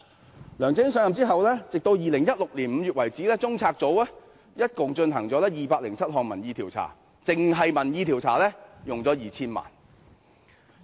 自梁振英上任後，截至2016年5月，中策組一共進行了207項民意調查，單是民意調查便花了 2,000 萬元。